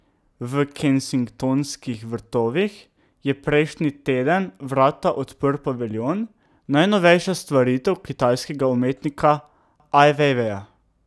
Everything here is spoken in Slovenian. V Kensingtonskih vrtovih je prejšnji teden vrata odprl paviljon, najnovejša stvaritev kitajskega umetnika Aj Vejveja.